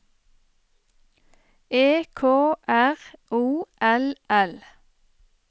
E K R O L L